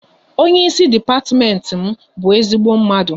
Onye ịsị depatiment m bụ ezigbo mmadụ